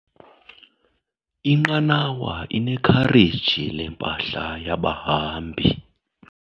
Inqanawa inekhareji lempahla yabahambi.